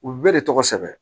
U bɛɛ de tɔgɔ sɛbɛn